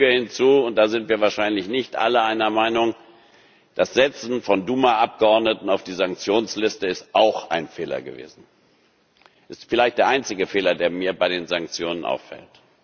sagen. Ich füge hinzu und da sind wir wahrscheinlich nicht alle einer Meinung Das Setzen von Duma Abgeordneten auf die Sanktionsliste ist auch ein Fehler gewesen, ist vielleicht der einzige Fehler, der mir bei den Sanktionen